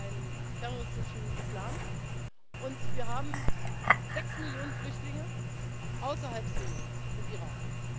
Syrien. Wir haben einen terroristischen Islam, und wir haben sechs Millionen Flüchtlinge außerhalb Syriens und